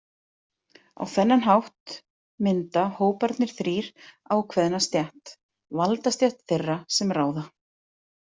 Á þennan hátt mynda hóparnir þrír ákveðna stétt: valdastétt þeirra sem ráða.